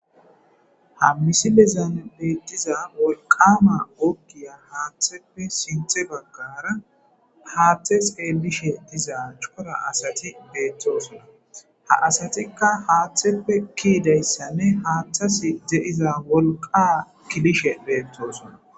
Hammisi bezan beettiza wolqama okgiya haaththeppe sinthe baggara haaththe xeelishe diza cora asati beettoosona ha asatikka haaththeppe kiidayssanne haaththas de'iza wolqa kilishe beettosona